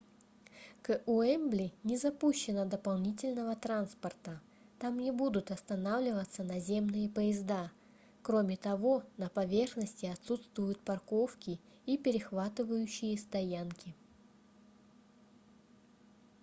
к уэмбли не запущено дополнительного транспорта там не будут останавливаться наземные поезда кроме того на поверхности отсутствуют парковки и перехватывающие стоянки